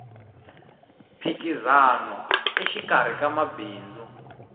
mphikizano exikarhi ka mabindzu